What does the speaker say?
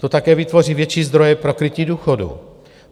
To také vytvoří větší zdroje pro krytí důchodů.